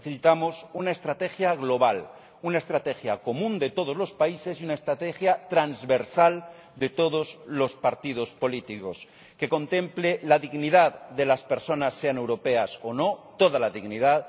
Necesitamos una estrategia global, una estrategia común de todos los países y una estrategia transversal de todos los partidos políticos, que contemple la dignidad de las personas, sean europeas o no, toda la dignidad